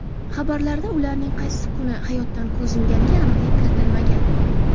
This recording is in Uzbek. Xabarlarda ularning qaysi kuni hayotdan ko‘z yumganiga aniqlik kiritilmagan.